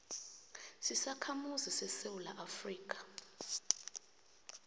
zizakhamuzi zesewula afrika